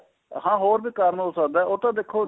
ਹਾਂ ਹੋਰ ਵੀ ਕਾਰਨ ਹੋ ਸਕਦੇ ਏ ਉਹ ਤਾਂ ਦੇਖੋ